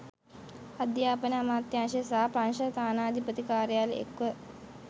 අධ්‍යාපන අමාත්‍යංශය සහ ප්‍රංශ තානාපති කර්යාලය එක්ව